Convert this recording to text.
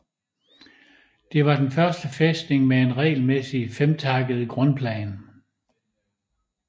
Det var den første fæstning med en regelmæssig femtakket grundplan